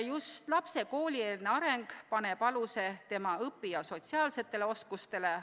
Just lapse koolieelne areng paneb aluse tema õpi- ja sotsiaalsetele oskustele.